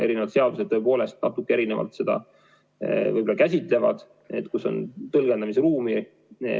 Eri seadused tõepoolest natuke erinevalt seda käsitlevad, on tõlgendamisruumi.